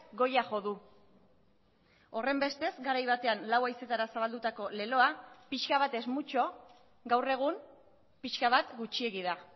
goia jo du horrenbestez garai batean lau haizeetara zabaldutako leloa pixka bat es mucho gaur egun pixka bat gutxiegi da